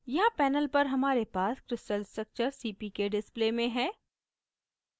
यहाँ panel पर हमारे पास crystal structure cpk display में है